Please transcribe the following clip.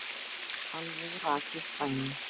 Alveg rakið dæmi.